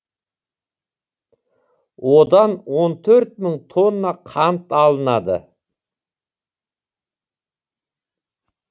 одан он төрт мың тонна қант алынады